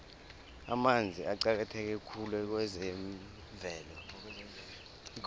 amanzi aqakatheke khulu kwezemvelo